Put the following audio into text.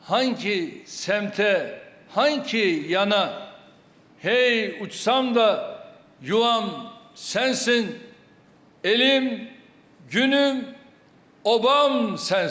Hanı ki səmtə, hanı ki yana, ey uçsam da, yuvam sənsin, elim, günüm, obam sənsin.